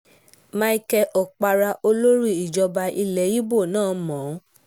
michael okpara olórí ìjọba ilẹ̀ ibo náà mọ́ o